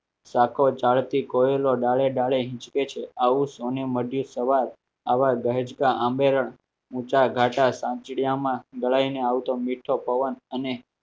રાખો જાળતી કોયલો દાડે ડાળે હિચકે છે આવું સૌને મળ્યુ સવાર આવા દહેજ ઊંચા ગાડામાં લડાઈને આવતો મીઠો પવન અને